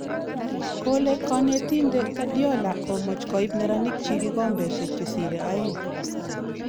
Kole konetinte Guardiola komoch koib neranik chii kikombeshe che sire oeng.